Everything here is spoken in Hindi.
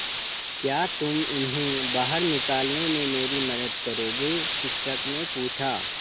क्या तुम इन्हें बाहर निकालने में मेरी मदद करोगे शिक्षक ने पूछा